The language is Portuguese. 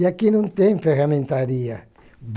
E aqui não tem ferramentaria.